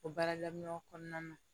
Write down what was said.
O baara daminɛw kɔnɔna na